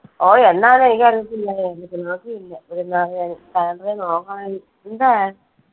ഓ എന്നാന്ന് എനിക്ക് അറിയത്തില്ല